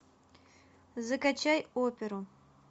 закачай оперу